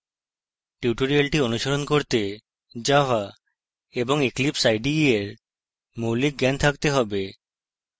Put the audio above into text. tutorial অনুসরণ করতে java এবং eclipse ide এর মৌলিক জ্ঞান থাকতে have